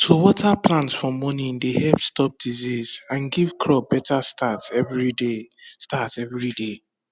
to water plant for morning dey help stop disease and give crop better start every day start every day